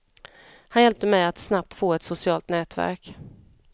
Han hjälpte mig att snabbt få ett socialt nätverk.